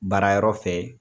Baara yɔrɔ fɛ